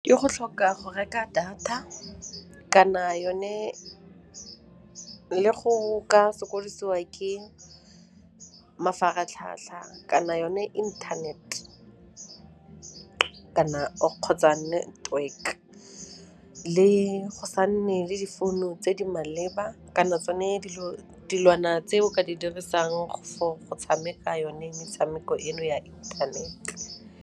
E o go tlhoka go reka data kana yone le go ka sokodisia ke mafaratlhatlha kana yone internet kgotsa network, le go sa nne le difounu tse di maleba kana tsone dilwana tse o ka di dirisang for go tshameka yone metshameko eno ya inthanete.